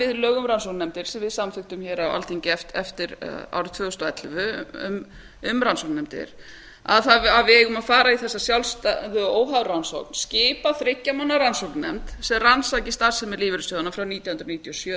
lög um rannsóknarnefndir sem á samþykktum á alþingi eftir árið tvö þúsund og ellefu að við eigum að fara í þessa sjálfstæðu óháða rannsókn skipa þriggja manna rannsóknarnefnd sem rannsaki starfsemi lífeyrissjóðanna aðra nítján hundruð níutíu og sjö til